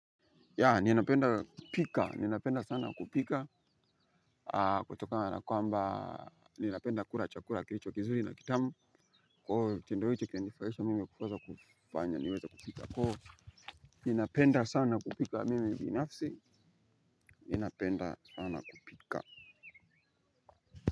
Yeah, ninapenda pika, ninapenda sana kupika. Kutokana kwa mba, ninapenda kula chakula kilicho kizuri na kitamu. Kwa hiyo kitindo hiki kinanifurahisha mimi kuweza kufanya, niweze kupika Ko, ninapenda sana kupika mimi binafsi, ninapenda sana kupika.